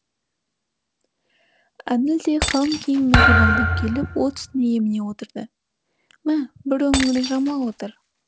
әділ де қалың киіммен қорбаңдап келіп от үстіне еміне отырды мә бір өңірін жамыла отыр